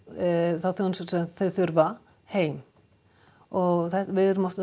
þá þjónustu sem þau þurfa heim og við erum að